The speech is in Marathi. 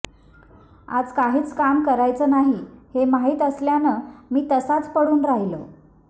आज काहीच काम करायचं नाही हे माहीत असल्यानं मी तसाच पडून राहिलो